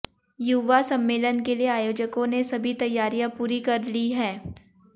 युवा सम्मेलन के लिए आयोजकों ने सभी तैयारियां पूरी कर ली हैं